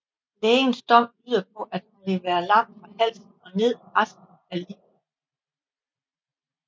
Lægens dom lyder på at hun vil være lam fra halsen og ned resten af livet